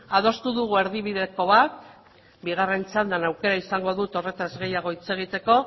adostu dugu erdibideko bat bigarren txandan aukera izango dut horretaz gehiago hitz egiteko